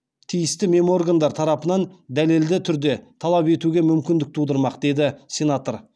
тиісті меморгандар тарапынан дәлелді түрде талап етуге мүмкіндік тудырмақ деді сенатор